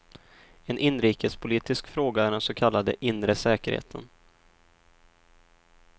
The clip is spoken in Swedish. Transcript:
En inrikespolitisk fråga är den så kallade inre säkerheten.